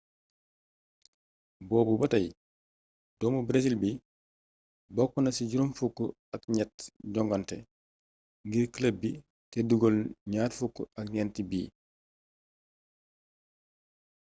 boobu batay doomu breesil bi bokkna ci juroom fukk ak gnett jongante ngir club bi té dugeel gnar fukk ak gnenti bit